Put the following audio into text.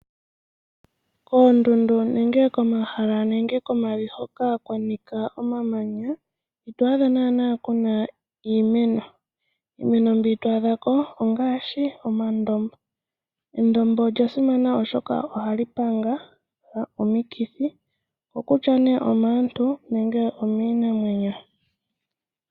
Koondundu nenge komahala nenge komavi hoka kwanika omamanya ito adha naana kuna iimeno. Iimeno mbi to adhako ongaashi omandombo . Endombo olya simana oshoka ohali panga omikithi maantu nenge miinamwenyo.